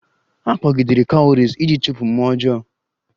A kpọgidere Cowries iji chụpụ mmụọ ọjọọ